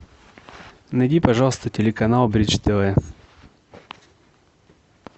найди пожалуйста телеканал бридж тв